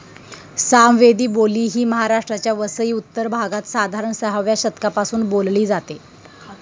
सामवेदी बोली ही महाराष्ट्राच्या वसई उत्तर भागात, साधारण सहाव्या शतकापासून बोलली जाते.